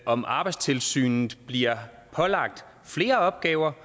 om arbejdstilsynet bliver pålagt flere opgaver